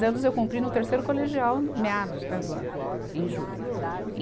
anos eu cumpri no terceiro colegial, meados né, do ano, em julho. e